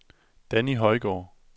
Danni Højgaard